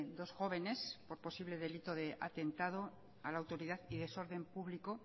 dos jóvenes por posible delito de atentado a la autoridad y desorden publico